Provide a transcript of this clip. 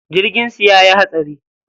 Jirgin su yayi hatsari.